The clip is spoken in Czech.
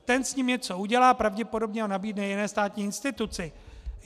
Ten s ním něco udělá, pravděpodobně ho nabídne jiné státní instituci.